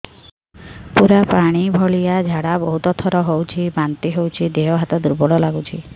ପୁରା ପାଣି ଭଳିଆ ଝାଡା ବହୁତ ଥର ହଉଛି ବାନ୍ତି ହଉଚି ଦେହ ହାତ ଦୁର୍ବଳ ଲାଗୁଚି